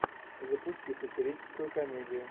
запусти сатирическую комедию